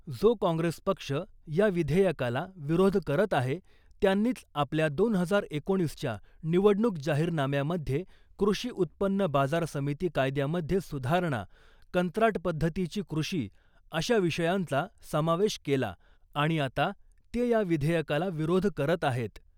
जो काँग्रेस पक्ष या विधेयकाला विरोध करत आहे त्यांनीच आपल्या दोन हजार एकोणीसच्या निवडणुक जाहीरनाम्यामध्ये कृषि उत्पन्न बाजार समिती कायद्यामध्ये सुधारणा , कंत्राट पद्धतीची कृषी अशा विषयांचा समावेश केला आणि आता ते या विधेयकाला विरोध करत आहे .